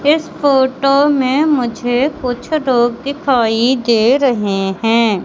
इस फोटो में मुझे कुछ लोग दिखाई दे रहे हैं।